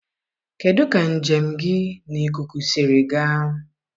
kedụ ka njem gị n'ikuku siri gaa?